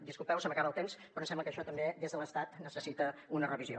disculpeu se m’acaba el temps però em sembla que això també des de l’estat necessita una revisió